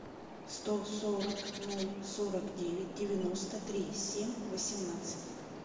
сто сорок ноль сорок девять девяносто три семь восемнадцать